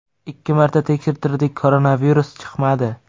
Ikki marta tekshirtirdik koronavirus chiqmadi.